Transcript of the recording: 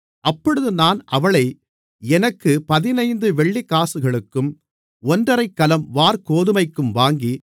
அப்பொழுது நான் அவளை எனக்குப் பதினைந்து வெள்ளிக்காசுகளுக்கும் ஒன்றரைக்கலம் வாற்கோதுமைக்கும் வாங்கி